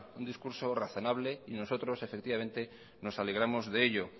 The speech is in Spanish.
un discurso razonable y nosotros efectivamente nos alegramos de ello